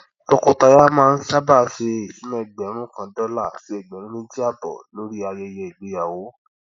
tọkọtaya máa ń sábà ṣe ìṣúná ẹgbẹrún kan dọlà sí ẹgbẹrún mẹjì àbọ lórí ayẹyẹ ìgbéyàwó